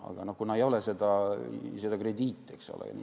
Aga ei ole krediiti.